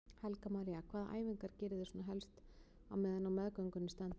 Helga María: Hvaða æfingar geriði svona helst á meðan á meðgöngunni stendur?